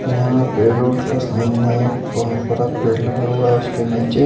यहाँ पेट्रोल के सामने एक बहोत बड़ा पेड़ लगा हुआ है उसके नीचे--